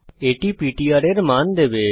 এটি পিটিআর এর মান দেবে